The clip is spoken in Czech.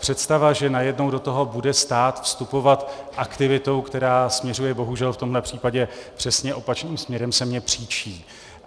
Představa, že najednou do toho bude stát vstupovat aktivitou, která směřuje bohužel v tomhle případě přesně opačným směrem, se mně příčí.